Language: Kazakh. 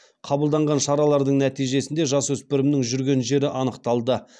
қабылданған шаралардың нәтижесінде жасөспірімнің жүрген жері анықталды